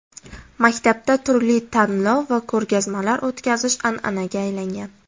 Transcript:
Maktabda turli tanlov va ko‘rgazmalar o‘tkazish an’anaga aylangan.